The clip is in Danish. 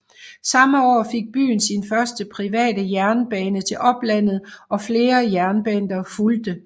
Samme år fik byen sin første private jernbane til oplandet og flere jernbaner fulgte